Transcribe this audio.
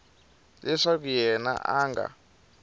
leswaku yena a a nga